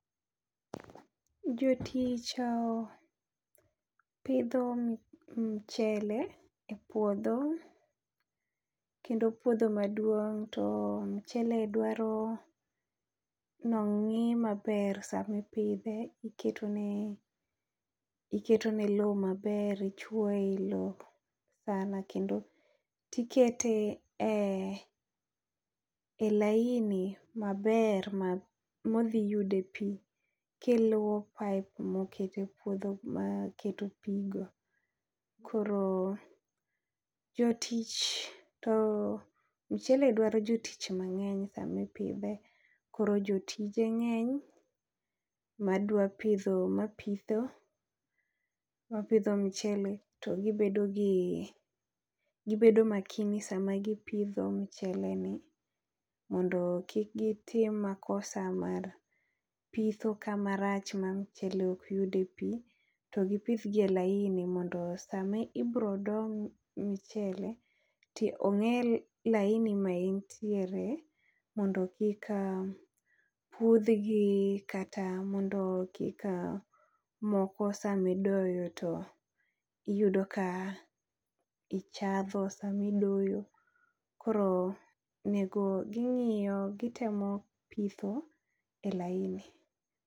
Jo tich opidho mchele e puodho kendo puodho maduong to mchele dwaro ni ong'i ma ber saa ma ipidhe, iketo ne loo ma ber ichuo e i loo sana kendo ti ikete e laini ma ber ma odhi yude e pi ki iluwo kae kum okete puodho mag keto pi go. Koro jotich to mchele dwaro jotich mangeny saa ma ipidhe. Koro jotije ngeny ma pidho ma pitho ma pidho mchele to gi bedo gi gi bedo makini saa ma gi pidho mchele ni mondo kik gi tim makosa mar pitho kama rach ma mchele ok yude e pi to gi pidh gi laini mondo saa ma ibiro doo mchele to onge laini ma in tie mondo kik a puodh gi kata mondo kik anyon moko sa ma idoyo to iyudo ka ichadho saa ma idoyo ,koro oneg gi ingiyo gi temo pitho e laini.